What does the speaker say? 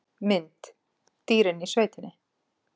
Mynd: Dýrin í sveitinni